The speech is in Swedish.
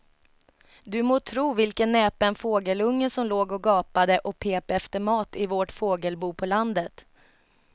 Du må tro vilken näpen fågelunge som låg och gapade och pep efter mat i vårt fågelbo på landet.